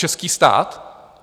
Český stát?